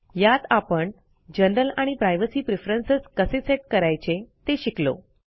यात आपण जनरल आणि प्रायव्हेसी प्रेफरन्स कसे सेट करायचे ते शिकलो